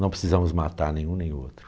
Não precisamos matar nenhum nem outro.